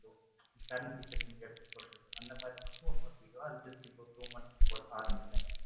current situation அந்த மாதிரி மட்டும் இன்னொரு video just இப்போ ஒரு two months போல தான் ஆரம்பிச்சேன்.